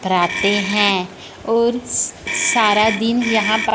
धराते हैं और सारा दिन यहां पर--